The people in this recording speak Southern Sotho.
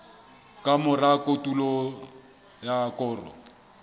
ka mora kotulo ya koro